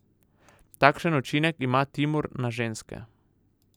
Takšen učinek ima Timur na ženske.